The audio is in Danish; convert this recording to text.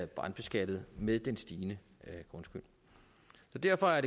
brandbeskattet med den stigende grundskyld derfor er